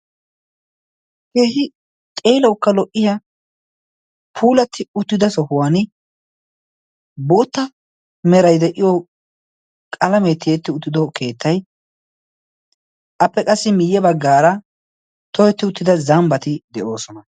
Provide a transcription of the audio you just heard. keehi xeeloukka lo77iya puulatti uttida sohuwan bootta merai de7iyo qalamee tietti uttido keettai appe qassi miyye baggaara toyetti uttida zambbati de7oosona